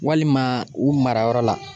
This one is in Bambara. Walima ,u mara yɔrɔ la